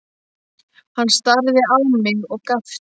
Hann starði á mig og gapti.